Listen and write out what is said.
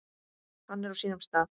Hann er á sínum stað.